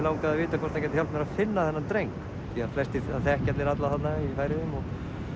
langaði að vita hvort hann gæti hjálpað mér að finna þennan dreng því það þekkja allir alla þarna í Færeyjum